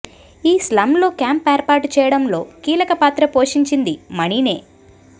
ఈ స్లమ్లో క్యాంప్ ఏర్పాటు చేయడంలో కీలక పాత్ర పోషించింది మణినే